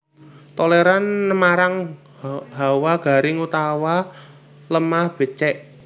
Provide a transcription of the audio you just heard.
Tolèran nmarang hawa garing utawa lemah bècèk